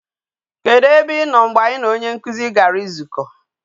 Kedu e be ino mgbe anyi na onye nkuzi gara izuko